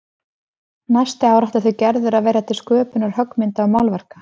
Næsta ári ætli þau Gerður að verja til sköpunar höggmynda og málverka.